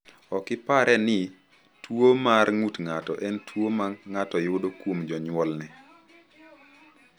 Ok ipare ni tuwo mar ng’ut ng’ato en tuwo ma ng’ato yudo kuom jonyuolne.